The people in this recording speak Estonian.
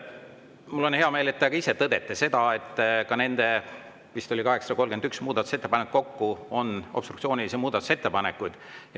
Mul on hea meel, et te ka ise tõdete, et nende ettepanekute seas – vist oli 831 muudatusettepanekut kokku – on obstruktsioonilisi ettepanekuid.